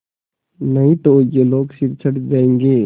नहीं तो ये लोग सिर चढ़ जाऐंगे